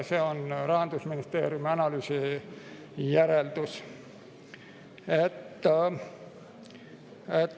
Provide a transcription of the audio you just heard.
See on Rahandusministeeriumi analüüsi järeldus.